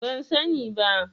Ban sani ba.